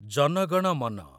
ଜନ ଗଣ ମନ